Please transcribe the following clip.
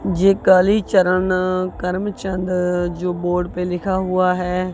जय कालीचरण करमचंद जो बोर्ड पे लिखा हुआ है।